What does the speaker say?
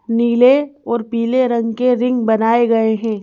नीले और पीले रंग के रिंग बनाए गए हैं।